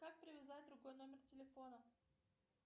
как привязать другой номер телефона